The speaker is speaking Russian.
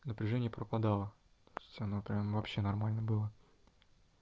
напряжение пропадало то есть оно прям вообще нормально было